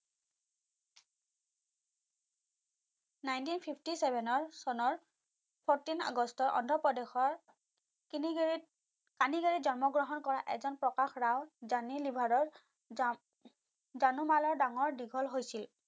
nineteen fifty seven ৰ চনৰ fourteen আগষ্টৰ অন্ধ্ৰপ্ৰদেশৰ কিলিগেৰীত কানিগেৰীত জন্ম গ্ৰহণ কৰা এজন প্ৰকাশ ৰাও জনি লিভাৰৰ জান জানুমালাৰ ডাঙৰ দীঘল হৈছিল।